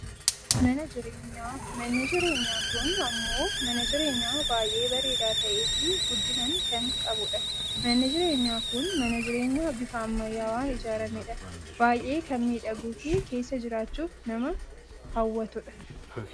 mana jireenyaa, manni jireenyaa kun ammoo mana jireenyaa baayyee bareedaa ta'eefi guddinan kan qabudha. manni jireenyaa kun mana jirenyaa bifa ammayyaawaan ijaarramedha. baayyee kan miidhaguufi keessa jiraachuuf nama hawwatu dha.